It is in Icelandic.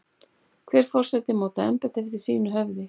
Hver forseti mótar embættið eftir eigin höfði.